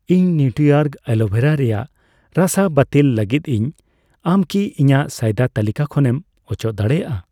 ᱤᱧ ᱱᱤᱣᱴᱨᱤᱚᱨᱜ ᱟᱞᱳᱵᱷᱮᱨᱟ ᱨᱮᱭᱟᱜ ᱨᱟᱥᱟ ᱵᱟᱹᱛᱤᱞ ᱞᱟᱹᱜᱤᱫ ᱤᱧ, ᱟᱢ ᱠᱤ ᱤᱧᱟᱜ ᱥᱚᱭᱫᱟ ᱛᱟᱹᱞᱤᱠᱟ ᱠᱷᱚᱱᱮᱢ ᱚᱪᱚᱜ ᱫᱟᱲᱮᱭᱟᱜᱼᱟ?